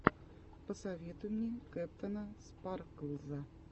посоветуй мне кэптэна спарклза